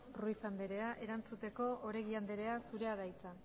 ruiz andrea erantzuteko oregi andrea zurea da hitza